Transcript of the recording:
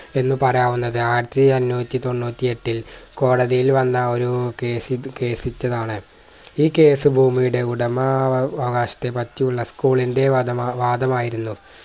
എന്നുപറയാവുന്നത് ആയിരത്തി അണ്ണൂറ്റി തൊണ്ണൂറ്റി എട്ടിൽ കോടതിയിൽ വന്ന ഒരു case case ച്ചതാണ്‌ ഈ case ഭൂമിയുടെ ഉടമവകാശത്തെ പറ്റിയുള്ള school ന്റെ വാദമ വാദമായിരുന്നു